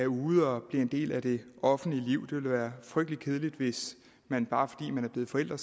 ude og bliver en del af det offentlige liv det det være frygtelig kedeligt hvis man bare fordi man var blevet forælder